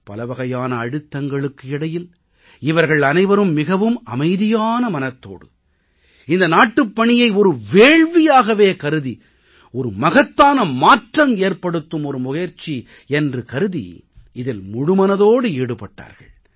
பலவகையான அழுத்தங்களுக்கு இடையில் இவர்கள் அனைவரும் மிகவும் அமைதியான மனதோடு இந்த நாட்டுப்பணியை ஒரு வேள்வியாகவே கருதி ஒரு மகத்தான மாற்றம் ஏற்படுத்தும் ஒரு முயற்சி என்றே கருதி இதில் முழுமனதோடு ஈடுபட்டார்கள்